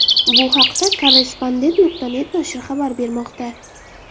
Bu haqda Korrespondent.net nashri xabar bermoqda .